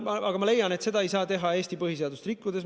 Aga ma leian, et seda ei saa teha Eesti põhiseadust rikkudes.